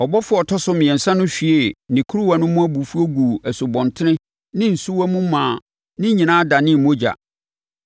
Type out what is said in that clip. Ɔbɔfoɔ a ɔtɔ so mmiɛnsa no hwiee ne kuruwa no mu abufuo guu nsubɔntene ne nsuwa mu maa ne nyinaa danee mogya.